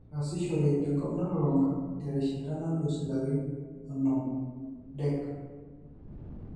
Etaasishore tenkop nalulung'a terishata nalus ilarin onom DEC.